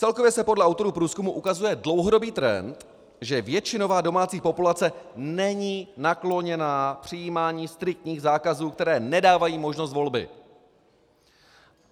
Celkově se podle autorů průzkumu ukazuje dlouhodobý trend, že většinová domácí populace není nakloněná přijímání striktních zákazů, které nedávají možnost volby.